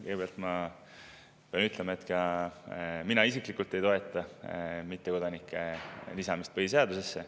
Kõigepealt pean ütlema, et ka mina isiklikult ei toeta mittekodanike lisamist põhiseadusesse.